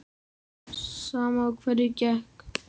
Sama á hverju gekk.